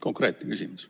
Konkreetne küsimus.